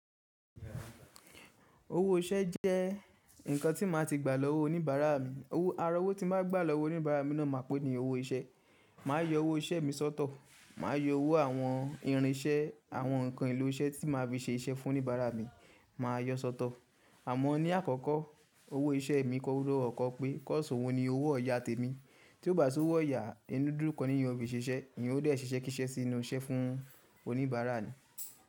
Owó iṣẹ́ jẹ́ nǹkan tí máa ti gbà lọ́wọ́ oníbàárà mi. Aró wò tí máa gbà lọ́wọ́ oníbàárà mi náà máa pè ní owó iṣẹ́. Màá yọ owó iṣẹ́ mi sọ́tọ̀, màá yọ owó àwọn irin iṣẹ́, àwọn nǹkan ìlú iṣẹ́ tí màá fi ṣe iṣẹ́ fún oníbàárà mi, màá yọ sọ́tọ̀. Àmọ́ ní àkọ́kọ́ owó iṣẹ́ mi kọ́kọ́ gbọ́dọ̀ pé kọ́s òun ni owó ọ̀yà tèmi. Tí ó bá sì owó ọ̀yà, inú dùn dún kọ́ ni èèyàn ofi ìṣiṣẹ́, èèyàn ó dé ṣe iṣẹ́ kíṣẹ́ sí inú iṣẹ́ fún oníbàárà ni.